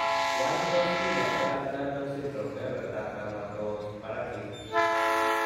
Wany tos kinya Ehlers danlos syndrome, kebebertab dermatosparaxis?